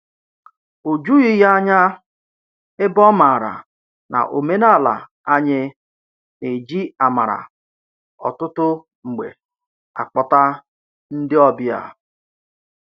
O jughị ya ányá, ebe ọ maara na omenala anyị na-eji amara ọtụtụ mgbe akpọta ndị ọbịa.